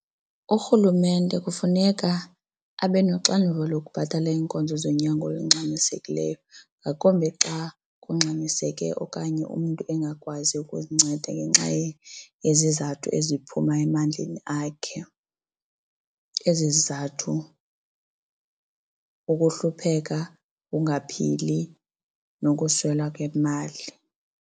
Urhulumente kufuneka abenoxanduva lokubhatala iinkonzo zonyango olungxamisekileyo ngakumbi xa kungxamiseke okanye umntu engakwazi ukuzinceda ngenxa yezizathu eziphuma emandleni akhe. Ezi zizathu kukuhlupheka, ungaphili, nokuswela kwemali.